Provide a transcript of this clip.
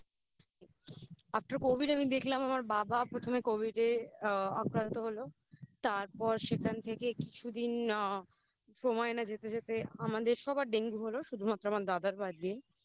After Covid আমি দেখলাম আমার বাবা প্রথমে Covid এ আক্রান্ত হলো তারপর সেখান থেকে কিছুদিন আ সময় না যেতে যেতে আমাদের সবার ডেঙ্গু হলো শুধুমাত্র আমার দাদার বাদ দিয়ে